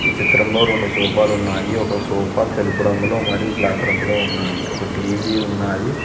ఈ చిత్రంలో రెండు సోఫాలు ఉన్నాయి ఒక సోఫా తెలుపు రంగులో మరియు బ్లాక్ రంగులో ఉన్నాయి ఒక టీ_వీ ఉన్నాది.